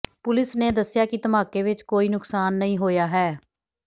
police ਨੇ ਦੱਸਿਆ ਕਿ ਧਮਾਕੇ ਵਿਚ ਕੋਈ ਨੁਕਸਾਨ ਨਹੀਂ ਹੋਇਆ ਹੈ